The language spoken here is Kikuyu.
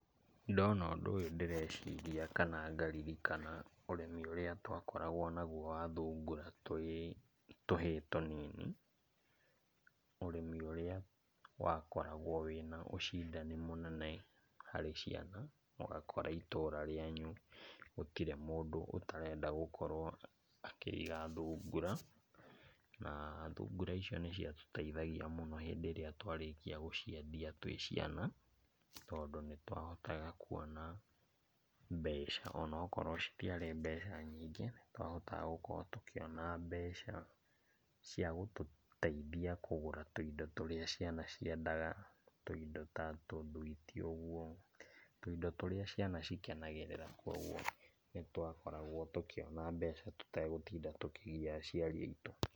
Ndona ũndũ ũyũ ndireciria kana ngaririrkana ũrĩmi ũrĩa twakoragwo naguo wa thungura twĩ tũhĩĩ tũnini. Ũrĩmi ũrĩa wakoragwo wĩ na ũcindani mũnene harĩ ciana, ũgakora itũra rĩanyu gũtirĩ mũndũ ũtarenda gũkorwo akĩiga thungura, na thungura icio nĩciatũteithagia mũno hĩndĩ ĩrĩa twarĩkia gũciendia twĩ ciana, tondũ nĩtwahotaga kuona mbeca onakorwo citiarĩ mbeca nyingĩ, nĩtwahotaga gũkorwo tũkĩona mbeca cia gũtũteithia kũgũra tũindo tũrĩa ciana ciendaga, tũindo ta tũthwiti ũguo, tũindo tũrĩa ciana cikenagĩrĩra kuoguo nĩtwakoragwo tũkĩona mbeca tũtegũtinda tũkĩgia aciaria aitũ.